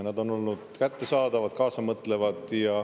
Nad on olnud kättesaadavad, kaasamõtlevad.